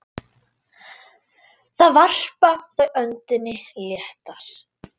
Þar varpa þau öndinni léttar.